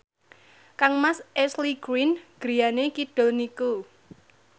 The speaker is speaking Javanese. kangmas Ashley Greene griyane kidul niku